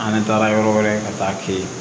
An taara yɔrɔ wɛrɛ ka taa ten